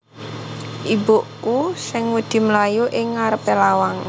Ibuku sing wedi mlayu ing ngarepe lawang